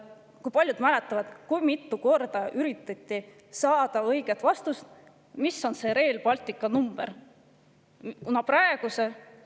Kui paljud mäletavad, kui mitu korda on üritatud saada õiget vastust, mis on Rail Balticu?